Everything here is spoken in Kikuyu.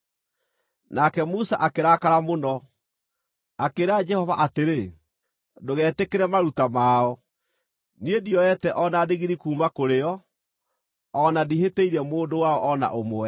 Nake Musa akĩrakara mũno, akĩĩra Jehova atĩrĩ, “Ndũgetĩkĩre maruta mao. Niĩ ndioete o na ndigiri kuuma kũrĩ o, o na ndihĩtĩirie mũndũ wao o na ũmwe.”